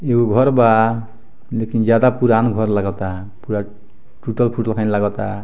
ऐउ घर बा लेकिन जादा पुरान घर लागता पूरा टुटल-फुटल खली लगोता।